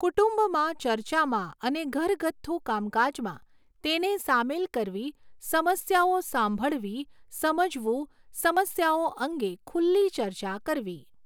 કુટુંબમાં ચર્ચામાં અને ઘરગથ્થુ કામકાજમાં તેને સામેલ કરવી સમસ્યાઓ સાંભળવી, સમજવું, સમસ્યાઓ અંગે ખુલ્લી ચર્ચા કરવી